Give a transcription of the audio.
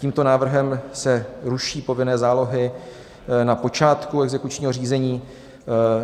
Tímto návrhem se ruší povinné zálohy na počátku exekučního řízení.